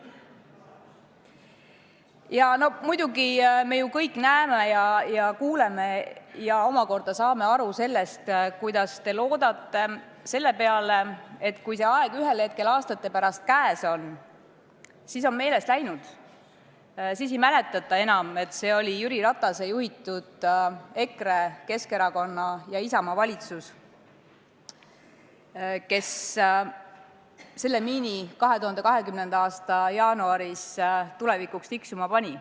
Ja no muidugi, me kõik ju näeme ja kuuleme ja omakorda saame aru sellest, kuidas te loodate selle peale, et kui see aeg ühel hetkel aastate pärast käes on, siis ei mäleta enam keegi, et see oli Jüri Ratase juhitud EKRE, Keskerakonna ja Isamaa valitsus, kes selle miini 2020. aasta jaanuaris tulevikuks tiksuma pani.